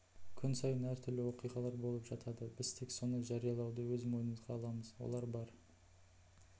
күн сайын әр түрлі оқиғалар болып жатады біз тек соны жариялауды өз мойнымызға аламыз олар бар